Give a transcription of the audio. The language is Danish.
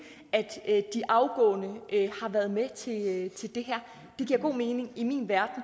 at de afgående har været med til det her det giver god mening i min verden